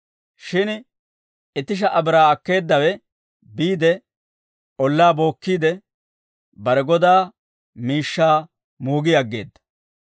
Shin itti sha"a biraa akkeeddawe biide, ollaa bookkiide, bare godaa miishshaa moogi aggeedda.